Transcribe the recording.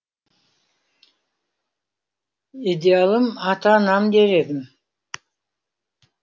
идеалым ата анам дер едім